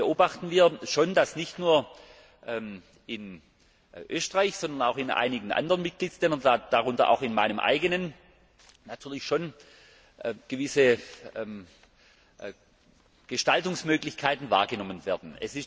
Da beobachten wir schon, dass nicht nur in Österreich, sondern auch in einigen anderen Mitgliedsländern, darunter auch in meinem Land, natürlich schon gewisse Gestaltungsmöglichkeiten wahrgenommen werden.